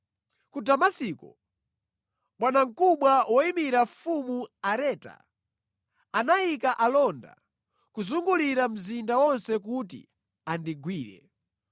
Ku Damasiko, bwanamkubwa woyimira Mfumu Areta, anayika alonda kuzungulira mzinda wonse kuti andigwire.